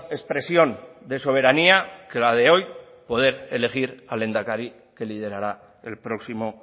expresión de soberanía que la de hoy poder elegir al lehendakari que liderará el próximo